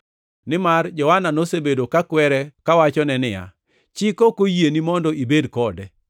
nimar Johana nosebedo ka kwere kawachone niya, “Chik ok oyieni mondo ibed kode.”